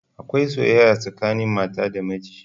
Akwai soyayya tsakanin mata da miji